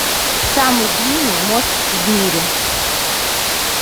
самый длинный мост в мире